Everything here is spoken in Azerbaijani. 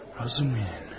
Razumihin.